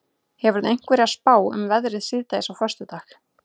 hefurðu einhverja spá um veðrið síðdegis á föstudag